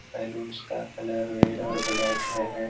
Balloons का colour red और black है है।